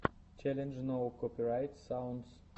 челлендж ноу копирайт саундс